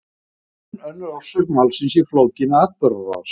Það er enn önnur orsök málsins í flókinni atburðarás.